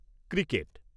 cricket